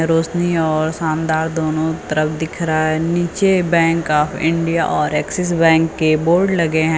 रोशनी और शानदार दोनों तरफ दिख रहा है नीचे बैंक ऑफ इंडिया और एक्सिस बैंक के बोर्ड लगे हैं।